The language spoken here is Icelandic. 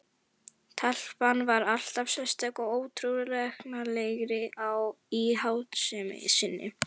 Telpan varð alltaf sérstæðari og óútreiknanlegri í háttsemi sinni.